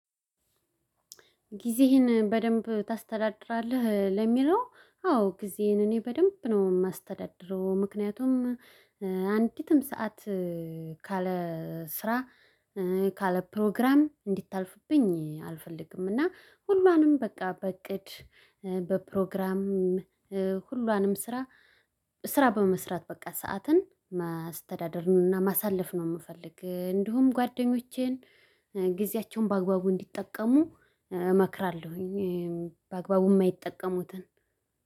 ጊዜህን በደንብ ታስተዳድራለህ? ለሚለው አዎ ጊዜዬን እኔ በደንብ ነው ማስተዳደሩ ምክንያቱም አንዲትም ሰዓት ካለ ስራ ካለ ፕሮግራም እንድታልፍብኝ አልፈልግምና ሁሏንም በቃ በእቅድ በፕሮግራም ሁሏንም ስራ ስራ በመስራት በቃ ሰዓትን ማስተዳደርና ማሳለፍ ነው የምፈልግ እንዲሁም ጓደኞቼን ጊዜያቸውን በአግባቡ እንዲጠቀሙ እመክራለሁ። በአግባቡ የማይጠቀሙትን